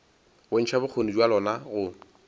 bontšha bokgoni bja lona go